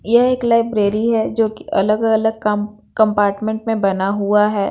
यह एक लाइब्रेरी हैं जो कि अलग-अलग कम कंपार्टमेंट में बना हुआ हैं।